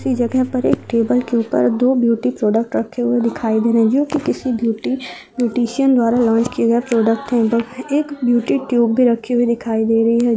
इसी जगह पर एक टेबल के ऊपर दो ब्यूटी प्रोडक्ट रखे हुए दिखाई दे रहे हैं किसी ब्यूटी ब्यूटिशियन द्वारा लौंच किये गए प्रोडक्ट हैं एक ब्यूटी ट्यूब भी रखी हुई दिखाई दे रही है